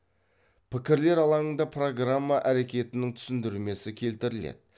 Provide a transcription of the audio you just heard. пікірлер алаңында программа әрекетінің түсіндірмесі келтіріледі